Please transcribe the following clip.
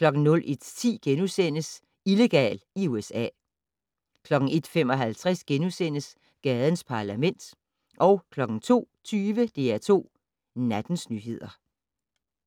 01:10: Illegal i USA * 01:55: Gadens Parlament * 02:20: DR2 Nattens nyheder